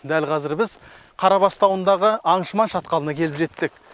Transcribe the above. дәл қазір біз қарабас тауындағы аңшыман шатқалына келіп жеттік